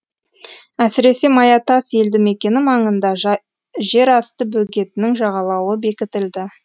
әсіресе маятас елді мекені маңында жерасты бөгетінің жағалауы бекітілді